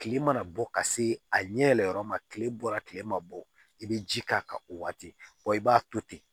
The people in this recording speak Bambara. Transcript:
Kile mana bɔ ka se a ɲɛ yɛlɛma kile bɔra kile ma bɔ i be ji k'a kan o waati i b'a to ten